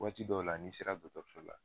Waati dɔw la n'i sera dɔɔtɔrso la